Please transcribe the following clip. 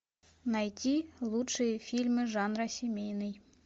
найти лучшие фильмы жанра семейный